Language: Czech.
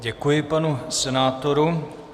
Děkuji panu senátorovi.